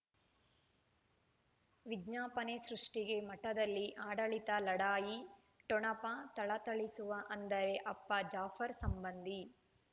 ವಿಜ್ಞಾಪನೆ ಸೃಷ್ಟಿಗೆ ಮಠದಲ್ಲಿ ಆಡಳಿತ ಲಢಾಯಿ ಠೊಣಪ ಥಳಥಳಿಸುವ ಅಂದರೆ ಅಪ್ಪ ಜಾಫರ್ ಸಂಬಂಧಿ